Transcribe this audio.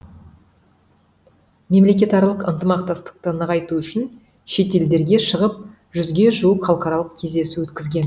мемлекетаралық ынтымақтастықты нығайту үшін шетелдерге шығып жүзге жуық халықаралық кездесу өткізген